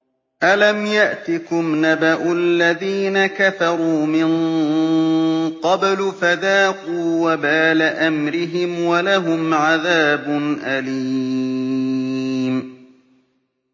أَلَمْ يَأْتِكُمْ نَبَأُ الَّذِينَ كَفَرُوا مِن قَبْلُ فَذَاقُوا وَبَالَ أَمْرِهِمْ وَلَهُمْ عَذَابٌ أَلِيمٌ